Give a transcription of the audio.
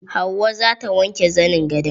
Hauwa zata wanke zanin gadon.